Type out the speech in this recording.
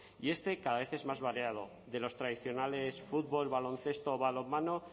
y este cada vez es más variado de los tradicionales fútbol baloncesto o balonmano